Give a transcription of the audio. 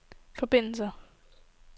forbindelser